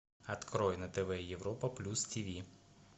открой на тв европа плюс тв